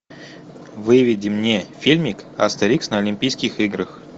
выведи мне фильмик астерикс на олимпийских играх